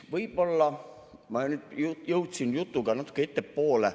Võib-olla ma jõudsin jutuga natuke ettepoole.